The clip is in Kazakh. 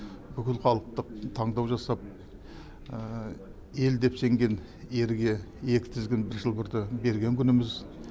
бүкілхалықтық таңдау жасап ел деп сенген ерге екі тізгін бір шылбырды берген күніміз